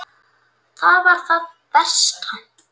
Það var það versta.